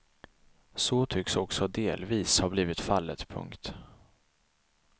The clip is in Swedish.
Så tycks också delvis ha blivit fallet. punkt